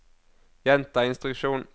gjenta instruksjon